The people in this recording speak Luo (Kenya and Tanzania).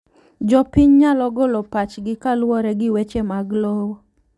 Jopiny nyalo golo pachgi kaluwore gi weche mag lowo.